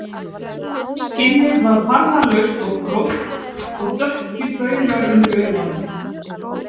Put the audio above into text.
Skinnið var farðalaust og gróft og dökkir baugar undir augunum